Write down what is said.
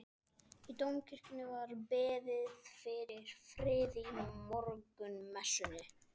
Í Dómkirkjunni var beðið fyrir friði í morgunmessunni.